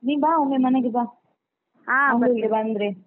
ನೀನ್ ಬಾ ಒಮ್ಮೆ ಮನೆಗೆ ಬಾ ಬಂದ್ರೆ.